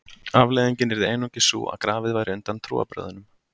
Afleiðingin yrði einungis sú að grafið væri undan trúarbrögðunum.